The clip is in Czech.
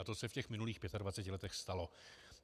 A to se v těch minulých 25 letech stalo.